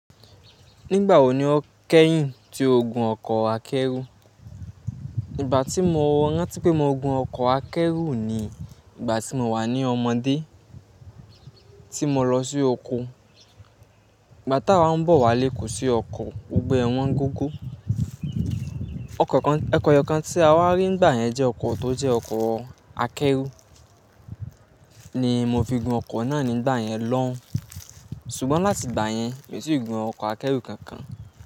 Nígbà wo ni o kẹ́yìn tí o gun ọkọ̀ akẹ́rù? Ìgbà tí mo rántí pé mo gun ọkọ̀ akẹ́rù ni ìgbà tí mo wà ní ọmọdé, tí mo lọ sí oko. Ìgbà tá a ń bọ̀ wálé kò sí ọkọ̀, gbogbo ẹ wọ́n gógó. Ọkọ̀ kan, ọkọ̀ ẹyọkan tí a wá rí nígbà yẹn jẹ́ ọkọ̀ tó jẹ́ ọkọ̀ akẹ́rù. Ni mo fi gun ọkọ̀ náà nígbà yẹn lọ́un. Ṣùgbọ́n láti ìgbà yẹn, mi ò tíì gùn ọkọ̀ akẹ́rù kankan.